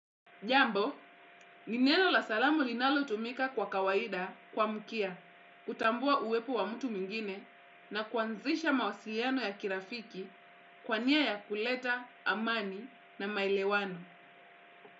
Jambo, ni neno la salamu linalotumika kwa kawaida kuamkia, kutambua uwepo wa mtu mwingine na kuanzisha mawasiliano ya kirafiki kwa nia ya kuleta, amani na maelewano.